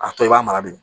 A tɔ i b'a mara bi